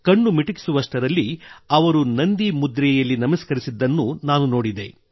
ಕಣ್ಣು ಮಿಟುಕಿಸುವಷ್ಟರಲ್ಲಿ ಅವರು ನಂದಿ ಮುದ್ರೆಯಲ್ಲಿ ನಮಸ್ಕರಿಸಿದ್ದನ್ನು ನಾನು ನೋಡಿದೆ